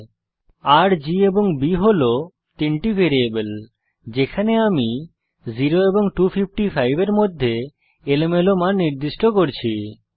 R G এবং B হল তিনটি ভ্যারিয়েবল যেখানে আমি 0 এবং 255 এর মধ্যে এলোমেলো মান নির্দিষ্ট করছি